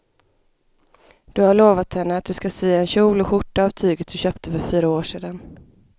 Du har lovat henne att du ska sy en kjol och skjorta av tyget du köpte för fyra år sedan.